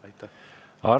Arto Aas.